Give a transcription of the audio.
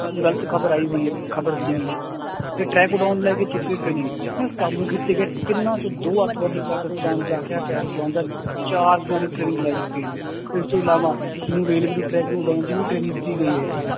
ਗ਼ਲਤ ਖ਼ਬਰ ਆਈ ਹੋਈ ਖ਼ਬਰ ਸੀਗੀ ਤੇ ਲੈ ਕੇ ਚੁੱਕੇ ਨਾ ਕਾਬੂ ਕੀਤੇ ਗਏ ਤਿੰਨਾਂ ਚੋੋਂ ਦੋ ਆਤੰਕਵਾਦੀ ਪਾਕਿਸਤਾਨ ਜਾ ਕੇ ਹਥਿਆਰ ਚਲਾਉਣ ਦਾ ਚਾਰ ਦਿਨਾਂ ਦੀ training ਲੈ ਚੁੱਕੇ ਹਨ, ਇਸ ਤੋਂ ਇਲਾਵਾ ਨੂੰ railway ਦੇ track ਨੂੰ ਉਡਾਉਣ ਦੀ ਵੀ training ਦਿੱਤੀ ਗਈ ਹੈ